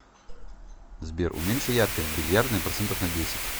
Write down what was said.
сбер уменьши яркость в бильярдной процентов на десять